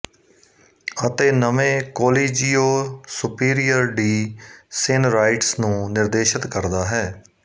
ਅਤੇ ਨਵੇਂ ਕੋਲੀਜੀਓ ਸੁਪੀਰੀਅਰ ਡੀ ਸੇਨਰਾਈਟਸ ਨੂੰ ਨਿਰਦੇਸ਼ਤ ਕਰਦਾ ਹੈ